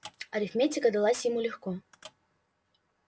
арифметика далась ему легко